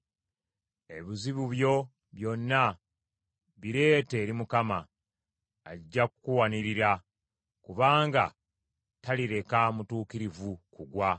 Ebizibu byo byonna bireete eri Mukama , ajja kukuwanirira; kubanga talireka mutuukirivu kugwa.